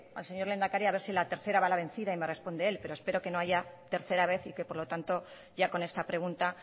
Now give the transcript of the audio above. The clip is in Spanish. al señor lehendakari a ver si a la tercera va la vencida y me responde él pero espero que no haya tercera vez y que por lo tanto ya con esta pregunta